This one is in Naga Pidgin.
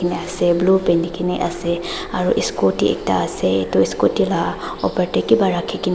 blue phenigina ase aro scooty ekta ase etu scooty la opor de kiba rakhi gina--